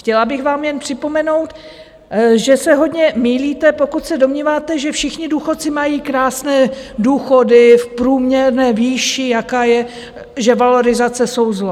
Chtěla bych vám jen připomenout, že se hodně mýlíte, pokud se domníváte, že všichni důchodci mají krásné důchody v průměrné výši, jaká je, že valorizace jsou zlo.